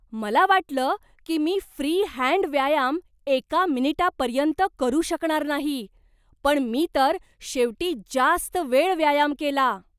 मला वाटलं की मी फ्री हँड व्यायाम एका मिनिटापर्यंत करू शकणार नाही, पण मी तर शेवटी जास्त वेळ व्यायाम केला.